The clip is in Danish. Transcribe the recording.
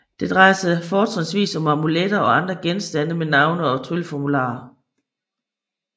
Det drejer sig fortrinsvis om amuletter og andre genstande med navne og trylleformularer